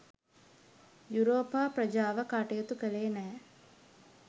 යුරෝපා ප්‍රජාව කටයුතු කළේ නෑ.